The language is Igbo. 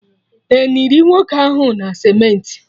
Eniri nwoke ahụ na cementị?